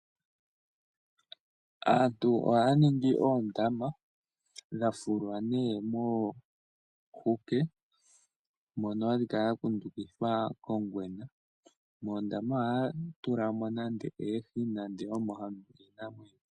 Aantu ohaya ningi oondama dha fulwa nee moohuke mono hadhi kala dha kundukidhwa kongwena. Moondama ohaya tula mo oohi.